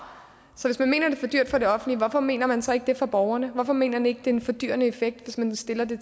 så hvis man mener det er for dyrt for det offentlige hvorfor mener man så ikke det er det for borgerne hvorfor mener man ikke det er en fordyrende effekt hvis man stiller det